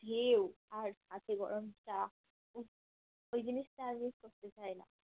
ঢেউ আর হাতে গরম চা উফ সেই জিনিসটা আগে করতে চাই না